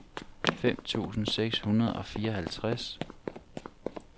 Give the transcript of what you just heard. fem tusind seks hundrede og fireoghalvtreds